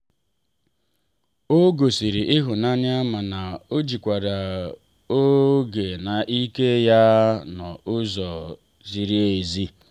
ọ gosiri ịhụnanya mana o jikwara oge na ike ya n’ụzọ ziri ezi.